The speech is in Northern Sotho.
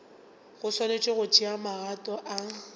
swanetše go tšea magato a